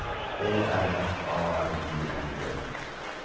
E R F A R I N G